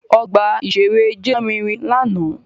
Ọgbà-ìṣeré JTT lárinrin lánàá